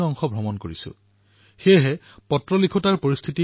মই মন কী বাতত অংশগ্ৰহণ কৰা প্ৰত্যেক ব্যক্তিক ধন্যবাদ প্ৰদান কৰিব বিচাৰিছো